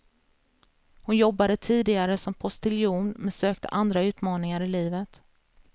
Hon jobbade tidigare som postiljon men sökte andra utmaningar i livet.